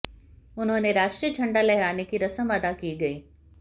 उन्होंने राष्ट्रीय झंडा लहराने की रस्म अदा की गई